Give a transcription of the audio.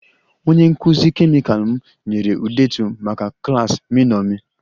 Onye nkụzi kemịkal m nyere ndetu maka klas m iṅomi